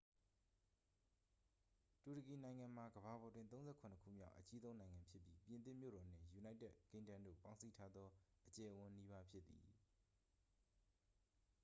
တူရကီနိုင်ငံမှာ ကမ္ဘာပေါ်တွင် 37 ခုမြောက် အကြီးဆုံးနိုင်ငံဖြစ်ပြီး ပြင်သစ်မြို့တော်နှင့် ယူနိုက်တက်ကင်းဒမ်းတို့ ပေါင်းစည်းထားသော အကျယ်အဝန်းနီးပါး ဖြစ်သည်